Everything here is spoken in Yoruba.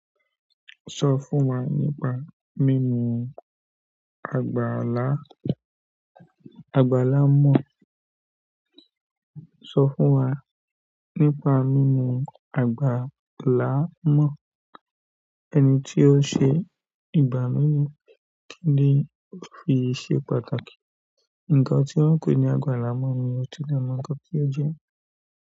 Sọ fún wa nípa mímu àgbàlá, àgbàlá mọ́. Sọ fún wa nípa mímu àgbàlá mọ́. Ẹni tí ó ṣe ìgbà mímu kín lè fi í ṣe pàtàkì. Nkan ti won pe ni agbalamo ni.